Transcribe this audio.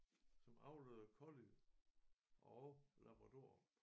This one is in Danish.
Som avlede collie og labradorer